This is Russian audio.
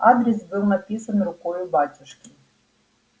адрес был написан рукою батюшки